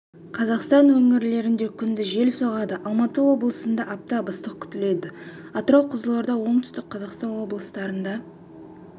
қазақстан өңірлерінде күндіз жел соғады алматы облысында аптап ыстық күтіледі атырау қызылорда оңтүстік қазақстан облыстарында